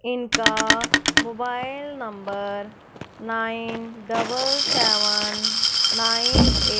इनका mobile number nine double seven nine ए--